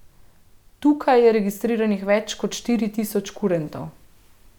Tukaj je registriranih več kot štiri tisoč kurentov.